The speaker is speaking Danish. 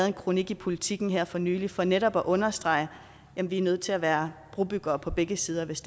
en kronik til politiken her for nylig for netop at understrege at vi er nødt til at være brobyggere på begge sider hvis